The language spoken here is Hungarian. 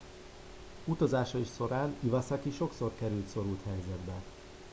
utazásai során iwasaki sokszor került szorult helyzetbe